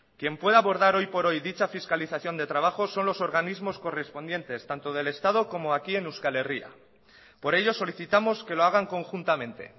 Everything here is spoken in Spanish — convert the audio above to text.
quien puede abordar hoy por hoy dicha fiscalización de trabajo son los organismos correspondientes tanto del estado como aquí en euskal herria por ello solicitamos que lo hagan conjuntamente